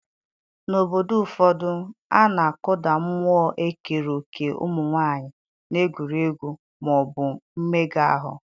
n'obodo ụfọdụ, a na-akụda mmụọ ikere òkè ụmụ nwanyị n'egwuregwu ma ọ bụ mmega ahụ